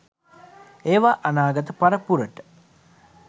ඒවා අනාගත පරපුරට